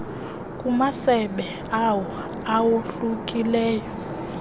kumasebe awo awohlukileyo